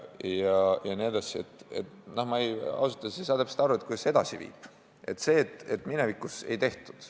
Ma ausalt öeldes ei saa täpselt aru, kuidas see edasi viib, see, et minevikus ei tehtud.